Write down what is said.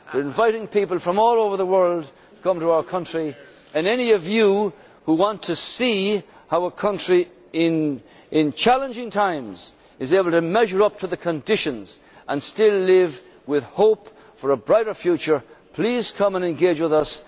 gathering. We are inviting people from all over the world to come to our country, and any of you who want to see how a country in challenging times is able to measure up to the conditions and still live with hope for a brighter future, please come and engage